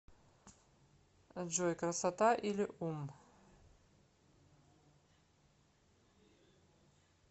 джой красота или ум